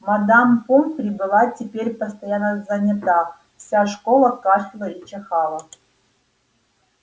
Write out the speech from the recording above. мадам помфри была теперь постоянно занята вся школа кашляла и чихала